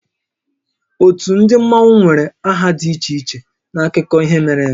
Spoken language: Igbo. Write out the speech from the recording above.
Ótú ndị Mmanwu nwere aha dị iche iche n'akụkọ ihe mere eme